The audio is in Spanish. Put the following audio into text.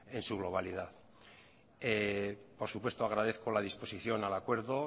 en su globalidad por supuesto agradezco la disposición al acuerdo